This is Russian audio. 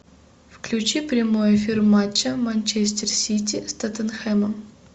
включи прямой эфир матча манчестер сити с тоттенхэмом